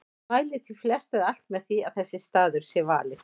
Mælir því flest eða alt með því að þessi staður sé valinn.